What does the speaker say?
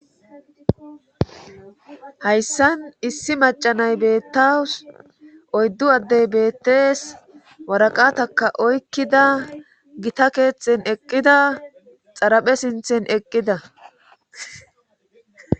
hayssan issi macanay beettaus oyddu addey beettees waraqataka oykkida gita keeththen eqqida xaraphe sinthen eqqida